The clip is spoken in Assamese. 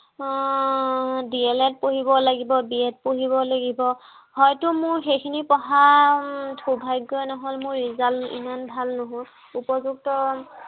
আহ DLEd পঢ়িব লাগিব। BEd পঢ়িব লাগিব। হয়তো মোৰ সেইখিনি পঢ়াৰ উম সৌভাগ্য়ই নহল। মোৰ result ইমান ভাল নহল। উপয়ুক্ত